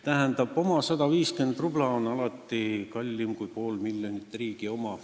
" Tähendab, oma 150 rubla on alati kallim kui riigi pool miljonit.